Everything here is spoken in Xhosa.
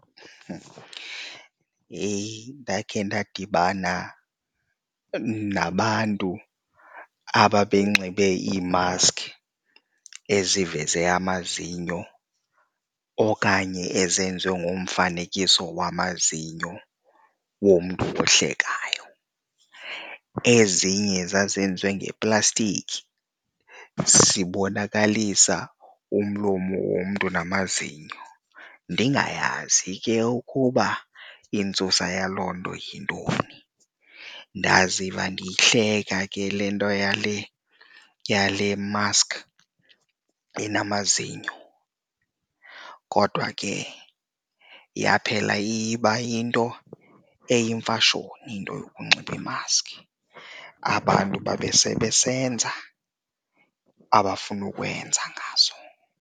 Yheyi! Ndakhe ndadibana nabantu aba benxibe iimaskhi eziveza amazinyo okanye ezenziwe ngomfanekiso wamazinyo womntu ohlekayo. Ezinye zazenziwe ngeplastiki zibonakalisa umlomo womntu namazinyo, ndingayazi ke ukuba intsusa yaloo nto yintoni. Ndaziva ndiyihleka ke le nto yale yale maskhi enamazinyo kodwa ke yaphela iye iba yinto eyimfashoni into yokunxiba iimaskhi, abantu babe sebesenza abafuna ukwenza ngazo.